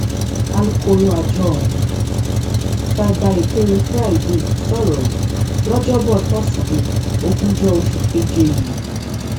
alūkkóró àjọ ọhún cyber èkéré friday sọrọ yìí lọjọbọ tosidee ogúnjọ oṣù keje yìí